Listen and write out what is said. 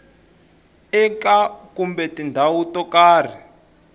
eka kumbe tindhawu to karhi